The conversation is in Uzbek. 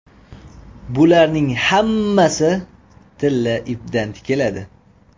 Bularning hammasi tilla ipdan tikiladi.